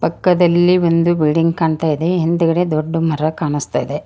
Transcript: ಪಕ್ಕದಲ್ಲಿ ಒಂದು ಬಿಲ್ಡಿಂಗ್ ಕಾಣ್ತಾ ಇದೆ ಹಿಂದ್ಗಡೆ ದೊಡ್ಡ ಮರ ಕಾಣಿಸ್ತಾ ಇದೆ.